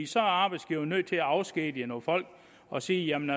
så er arbejdsgiveren nødt til at afskedige nogle folk og sige jamen